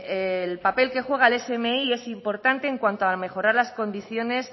el papel que juega el smi es importante en cuanto a mejorar las condiciones